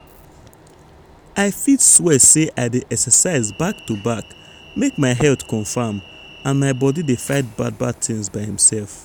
i fit swear say i dey exercise back to back make my health confam and my body fit dey fight bad bad things by imsef.